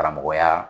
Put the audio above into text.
Karamɔgɔya